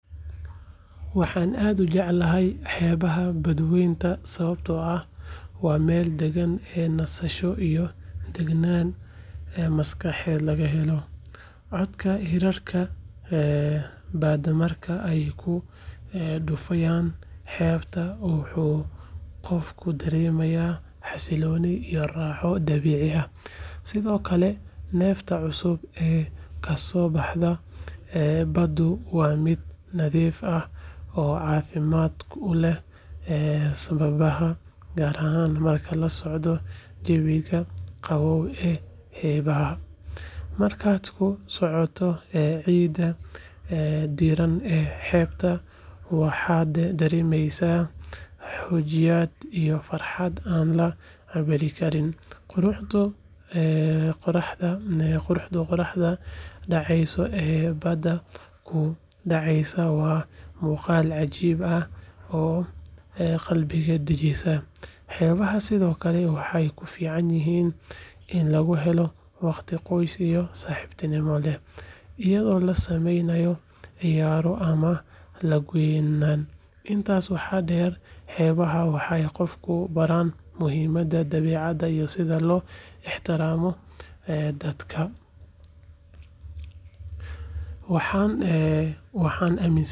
Waxan aad ujeclahay xebaha bad wenta sawabto ah waa meel dagan ee nasasho iyo dagnan aya maskaxeed laga helo coodka ee ku dufayan wuxuu qofka daremaya xasiloni iyo raxa dabici ah sithokale nefta cusub ee kaso baxdo bada waa miid nadhif ah oo cafimaad kuleh sababaha markaad kusocoyo cida waxaa daremeysa farxaad marke qoraxda daceysa oo ah, xebaha waxee sithokale ufican yihin in lagu helo waqti qoys iyo saxibtinimo leh iyaga oo la sameynaya, intas waxaa deer xebaha waxee qofka baran muhiimaada dabecaada iyo sitha lo ixtiramo dadka waxan amin sanahay.